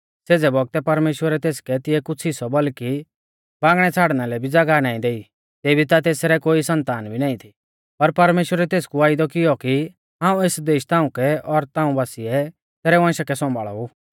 सेज़े बौगतै परमेश्‍वरै तेसकै तिऐ कुछ़ हिस्सौ बल्कि बांगणै छ़ाड़ना लै भी ज़ागाह नाईं देई तेभी ता तेसरै कोई सन्तान भी नाईं थी पर परमेश्‍वरै तेसकु वायदौ किऔ कि हाऊं एस देश ताउंकै और ताऊं बासिऐ तैरै वंशा कै सौंभाल़ा ऊ